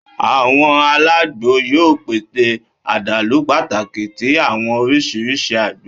Awọn alagbo yoo pese adalu pataki ti awọn oriṣiriṣi ágbò